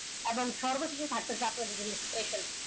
এবং সর্ব শেষে থাকতেছে special